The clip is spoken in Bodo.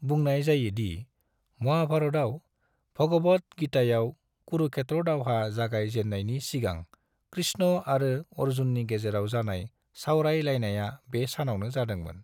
बुंनाय जायो दि, महाभारतआव, भगवद् गीतायाव, कुरुक्षेत्र दावहा जागाय जेननायनि सिगां कृष्ण आरो अर्जुननि गेजेराव जानाय सावराय लायनाया बे सानावनो जादोंमोन।